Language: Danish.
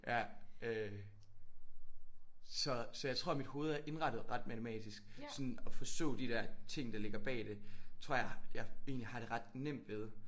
Ja øh så så jeg tror mit hoved er indrettet ret matematisk. Sådan at forstå de der ting der ligger bag det tror jeg egentlig har det ret nemt ved